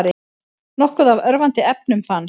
Nokkuð af örvandi efnum fannst